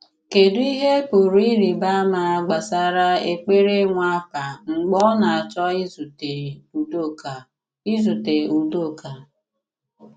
Kédù ihe pụrụ ịrị̀ba àma gbasara èkpere Nwàpà mgbe ọ na-achọ ìzùte Udoka? ìzùte Udoka?